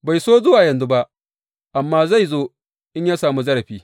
Bai so zuwa yanzu ba, amma zai zo in ya sami zarafi.